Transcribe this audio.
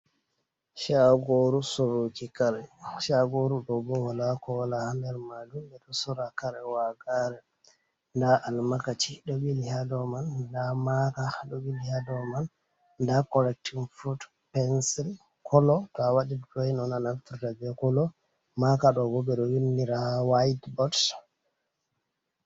Caagooru sooruki kare, Caagoru ɗo bo walaa kowalaa ha nder maajum. Ɓe ɗo soora kare wagaare, ndaa Almakaci ɗo haa ɗoo man, ndaa Maaka ɗo ɓili haa dow man, ndaa korektin fulut, Pensil kolo, to a waɗi duroowin on a naftira bee kolo, Maaka ɗoo bo ɓe ɗo winndira ha waayit bot.